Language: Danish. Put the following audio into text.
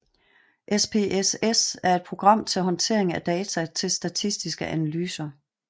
SPSS er et program til håndtering af data til statistiske analyser